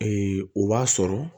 o b'a sɔrɔ